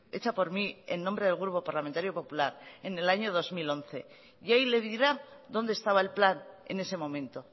hecha por mí en nombre del grupo parlamentario popular en el año dos mil once y ahí le dirá dónde estaba el plan en ese momento